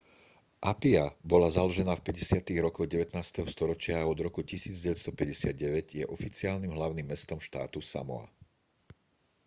apia bola založená v 50-tych rokoch 19. storočia a od roku 1959 je oficiálnym hlavným mestom štátu samoa